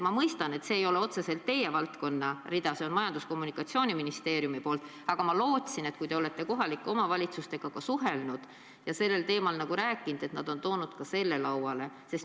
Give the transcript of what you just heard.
Ma mõistan, et see ei ole otseselt teie valdkond, see on Majandus- ja Kommunikatsiooniministeeriumi valdkond, aga ma loodan, et te olete kohalike omavalitsustega suheldes ka sellel teemal rääkinud ja nad on toonud ka selle probleemi lauale.